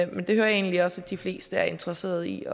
men det hører jeg egentlig også at de fleste er interesseret i at